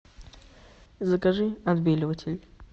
закажи отбеливатель